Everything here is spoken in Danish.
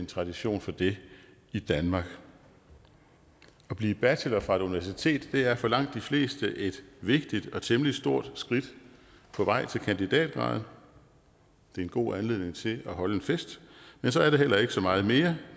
tradition for det i danmark at blive bachelor fra et universitet er for langt de fleste et vigtigt og temmelig stort skridt på vej til kandidatgraden det er en god anledning til at holde en fest men så er det heller ikke så meget mere